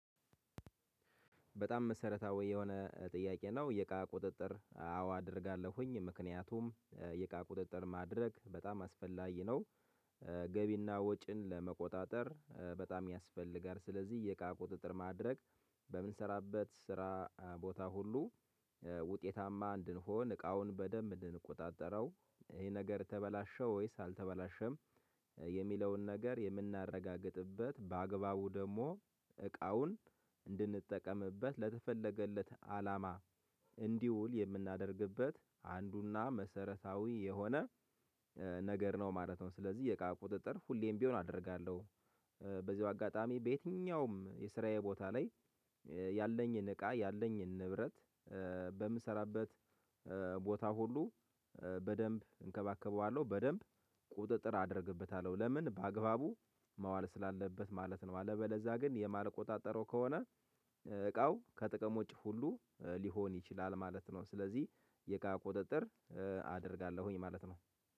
በጣም መሰረታዊ የሆነ ጥያቄ ነው። የእቃ ቁጥጥር አዎ አደርጋለሁኝ። ምክንያቱም የእቃ ቁጥጥር ማድረግ በጣም አስፈላጊ ነው። ገቢና ወጪን ለመቆጣጠር በጣም ያስፈልጋል። ስለዚህ የእቃ ቁጥጥር ማድረግ በምንሰራበት ስራ ቦታ ሁሉ ውጤታማ እንድንሆን እቃውን በደንብ እንድንቆጣጠረው ይሄ ነገር ተበላሸ ወይስ አልተበላሸም የሚለውን ነገር የምናረጋግጥበት በአግባቡ ደግሞ እቃውን እንድነጠቀምበት ለተፈለገለት አላማ እንዲውል የምናደርግበት አንዱና መሰረታዊ የሆነ ነገር ነው ማለት ነው። ስለዚህ የእቃ ቁጥጥር ሁሌም ቢሆን አደርጋለሁ። በዚሁ አጋጣሚ በየትኛውም የስራዬ ቦታ ላይ ያለኝን እቃ ያለኝን ንብረት በምሰራበት ቦታ ሁሉ በደንብ እንከባከበዋለሁ፣ በደንብ ቁጥጥር አደርግበታለሁ። ለምን በአግባቡ መዋል ስላለበት ማለት ነው፤ አለበለዛ ግን የማልቆጣጠረው ከሆነ እቃው ከጥቅም ውጭ ሁሉ ሊሆን ይችላል ማለት ነው። ስለዚህ የእቃ ቁጥጥር አደርጋለሁኝ ማለት ነው።